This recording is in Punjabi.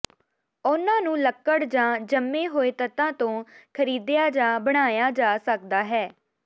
ਉਨ੍ਹਾਂ ਨੂੰ ਲੱਕੜ ਜਾਂ ਜੰਮੇ ਹੋਏ ਤੱਤਾਂ ਤੋਂ ਖਰੀਦਿਆ ਜਾਂ ਬਣਾਇਆ ਜਾ ਸਕਦਾ ਹੈ